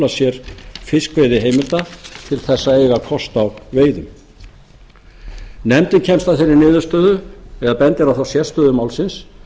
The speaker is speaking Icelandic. sér fiskveiðiheimilda til þess að eiga kost á veiðum nefndin kemst að þeirri niðurstöðu eða bendir á þá sérstöðu málsins